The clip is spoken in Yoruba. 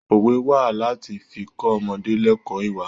Òwe wá láti fi kọ́ ọmọdé lẹ́kọ̀ọ́ ìwà.